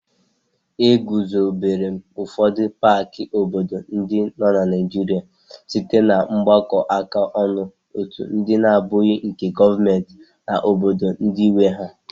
E guzobere ụfọdụ paaki obodo ndị nọ na Naịjirịa site na mgbakọ áká ọnụ otu ndị na-abụghị nke gọọmenti na obodo ndị nwe ha.